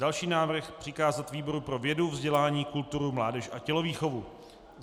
Další návrh: přikázat výboru pro vědu, vzdělání, kulturu, mládež a tělovýchovu.